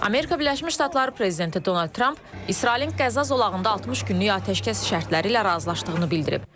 Amerika Birləşmiş Ştatları prezidenti Donald Tramp İsrailin Qəzza zolağında 60 günlük atəşkəs şərtləri ilə razılaşdığını bildirib.